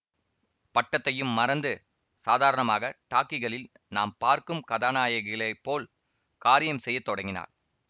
பட்டத்தையும் மறந்து சாதாரணமாக டாக்கிகளில் நாம் பார்க்கும் கதாநாயகிகளைப் போல் காரியம் செய்ய தொடங்கினாள்